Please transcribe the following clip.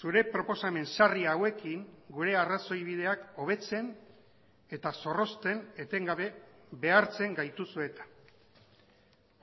zure proposamen sarri hauekin gure arrazoibideak hobetzen eta zorrozten etengabe behartzen gaituzu eta